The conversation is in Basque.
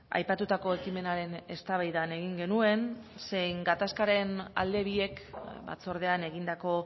aipatutako ekimenaren eztabaidan egin genuen zein gatazkaren alde biek batzordean egindako